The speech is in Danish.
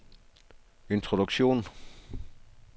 introduktion